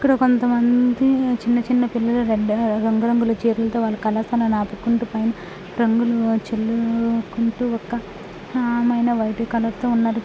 ఇక్కడ కొంత మంది చిన్న చిన్న పిల్లలు రెడ్ రంగు రంగుల చేతులతో వాళ్ళు కలర్స్ ఆపుకుంటూ పైన రంగులు చల్లుకుంటూ ఒక ఆమె వైట్ కలర్ తో ఉన్నది.